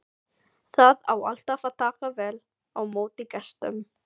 Það á alltaf að taka vel á móti gestum.